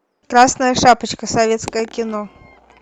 красная шапочка советское кино